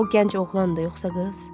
O gənc oğlandır, yoxsa qız?